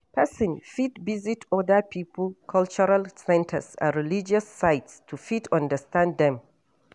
Person fit visit oda pipo cultural centers and religious sites to fit understand dem